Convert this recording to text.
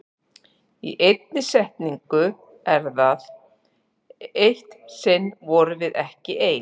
Í einni setningu er það: Eitt sinn vorum við ekki ein.